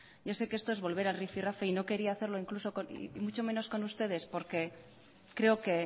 ya sé que esto es volver al rifirrafe y no quería hacerlo incluso mucho menos con ustedes porque creo que